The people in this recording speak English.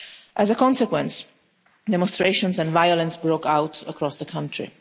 As a consequence, demonstrations and violence broke out across the country.